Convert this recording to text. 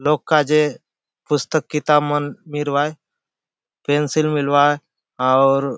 लोक काजे पुस्तक किताब मन मिलुआय पेंसिल मिलुआय आउर --